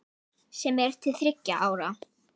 sem er til þriggja ára.